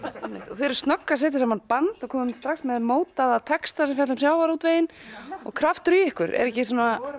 og þið eruð snögg að setja saman band og komin strax með mótaða texta sem fjalla um sjávarútveginn kraftur í ykkur við vorum